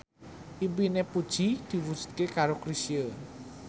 impine Puji diwujudke karo Chrisye